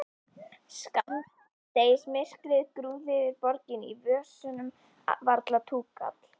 Skammdegismyrkrið grúfði yfir borginni, í vösunum varla túkall.